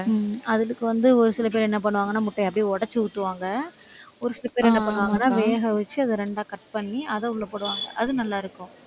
உம் அதுக்கு வந்து ஒரு சில பேரு என்ன பண்ணுவாங்கன்னா, முட்டையை அப்படியே உடைச்சு ஊத்துவாங்க. ஒரு சில பேரு என்ன பண்ணுவாங்கன்னா, வேக வச்சு அதை இரண்டா cut பண்ணி அதை உள்ளே போடுவாங்க. அது நல்லா இருக்கும்